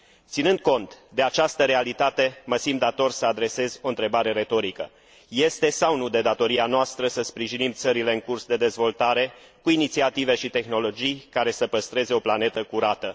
Ținând cont de această realitate, mă simt dator să adresez o întrebare retorică este sau nu de datoria noastră să sprijinim țările în curs de dezvoltare cu inițiative și tehnologii care să păstreze o planetă curată?